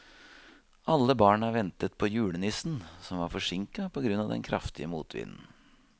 Alle barna ventet på julenissen, som var forsinket på grunn av den kraftige motvinden.